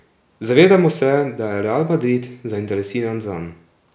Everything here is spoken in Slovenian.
Zavedamo se, da je Real Madrid zainteresiran zanj.